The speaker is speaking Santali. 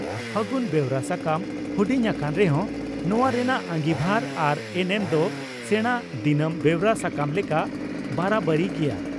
ᱯᱷᱟᱹᱜᱩᱱ' ᱵᱮᱣᱨᱟ ᱥᱟᱠᱟᱢ ᱦᱩᱰᱤᱧ ᱟᱠᱟᱱ ᱨᱮᱦᱚᱸ ᱱᱚᱣᱟ ᱨᱮᱱᱟᱜ ᱟᱸᱜᱤᱵᱷᱟᱨ ᱟᱨ ᱮᱱᱮᱢ ᱫᱚ ᱥᱮᱬᱟ ᱫᱤᱱᱟᱢ ᱵᱮᱣᱨᱟ ᱥᱟᱠᱟᱢ ᱞᱮᱠᱟ ᱵᱟᱨᱟ ᱵᱟᱹᱨᱤ ᱜᱮᱭᱟ ᱾